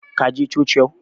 Ka je coci yau?